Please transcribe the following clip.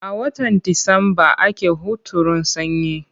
A watan Disamba ake hunturun sanyi.